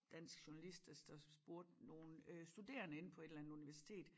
Dansk journalist der der spurgte nogen øh studerende inde på et eller andet universitet